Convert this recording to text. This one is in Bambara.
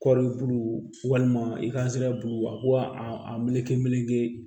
Kɔri buluw walima i ka sira b'u a ko a meleke meleke